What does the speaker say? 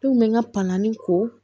Denw bɛ n ka panni ko